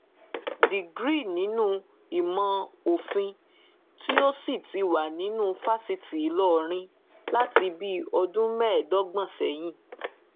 degree nínú ìmọ òfin tó sì ti wà nínú fásitì ìlọrin láti bíi ọdún mẹẹẹdọgbọn sẹyìn